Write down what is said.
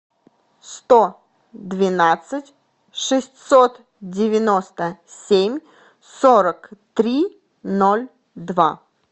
сто двенадцать шестьсот девяносто семь сорок три ноль два